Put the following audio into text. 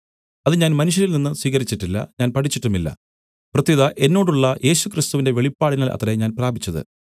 അത് ഞാൻ മനുഷ്യരിൽനിന്ന് സ്വീകരിച്ചിട്ടില്ല ഞാൻ പഠിച്ചിട്ടുമില്ല പ്രത്യുത എന്നോടുള്ള യേശുക്രിസ്തുവിന്റെ വെളിപാടിനാൽ അത്രേ ഞാൻ പ്രാപിച്ചത്